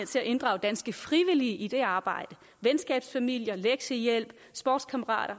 til at inddrage danske frivillige i det arbejde venskabsfamilier lektiehjælp sportskammerater